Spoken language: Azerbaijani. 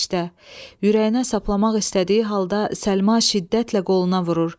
Ürəyinə saplamaq istədiyi halda Səlma şiddətlə qoluna vurur.